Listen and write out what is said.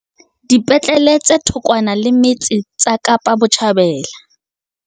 Dipetlele tse thokwana le metse tsa Kapa Botjhabela